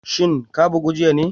Shin ka bugu jiya ne?